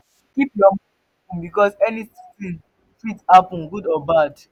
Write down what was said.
keep your mind open because anything fit happen good or bad